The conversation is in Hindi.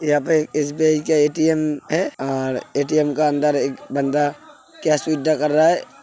यहाँ पे एक एस.बी.आइ का ए.टी.एम है और ए.टी.एम के अंदर एक बंदा कैश विड्रॉ कर रहा है।